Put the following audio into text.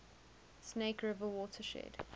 snake river watershed